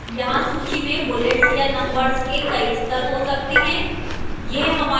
यहां सूची में bullets या numbers के कई स्तर हो सकते हैं